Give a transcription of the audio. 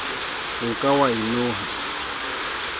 o ka wa e noha